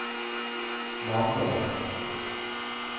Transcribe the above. Mandal